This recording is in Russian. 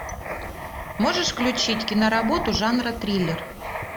можешь включить киноработу жанра триллер